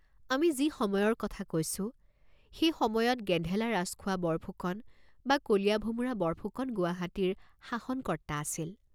আমি যি সময়ৰ কথা কৈছোঁ, সেই সময়ত গেন্ধেলা ৰাজখোৱা বৰফুকন বা কলীয়া ভোমোৰা বৰফুকন গুৱাহাটীৰ শাষনকৰ্ত্তা আছিল।